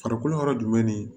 Farikolo yɔrɔ jumɛn ni